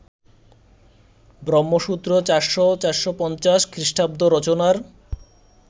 ব্রহ্মসূত্র ৪০০-৪৫০ খ্রিস্টাব্দ রচনার